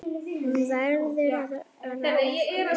Hún verður að ráða.